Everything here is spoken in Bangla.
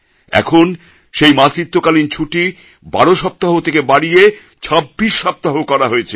এখন সেই মাতৃত্বকালীন ছুটি ১২ সপ্তাহ থেকে বাড়িয়ে ২৬ সপ্তাহ করা হয়েছে